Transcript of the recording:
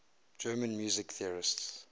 german music theorists